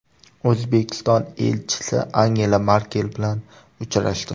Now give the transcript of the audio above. O‘zbekiston elchisi Angela Merkel bilan uchrashdi.